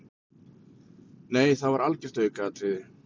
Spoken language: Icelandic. Nei það var algjört aukaatriði.